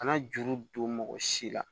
Kana juru don mɔgɔ si la